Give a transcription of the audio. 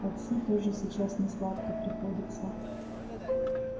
отцу тоже сейчас несладко приходится